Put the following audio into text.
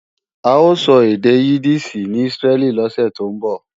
A ó sọ èdè Yídíìṣì ní Ísírẹ́lì lọ́sè tó ń bọ̀